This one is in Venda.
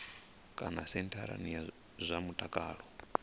kana sentharani ya zwa mutakalo